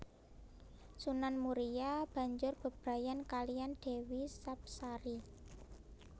Sunan Muria banjur bebrayan kaliyan Dewi Sapsari